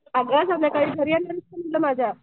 अगं संध्याकाळी घरी येणार आहेस का माझ्या?